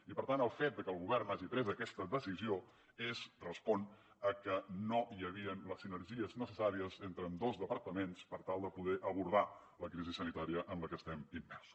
i per tant el fet de que el govern hagi pres aquesta decisió és respon a que no hi havien les sinergies necessàries entre ambdós departaments per tal de poder abordar la crisi sanitària en la que estem immersos